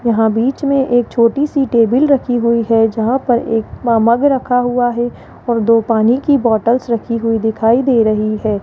यहां बीच में एक छोटी सी टेबिल रखी हुई है जहां पर एक म मग रखा हुआ है और दो पानी की बॉटल्स रखी हुई दिखाई दे रही है।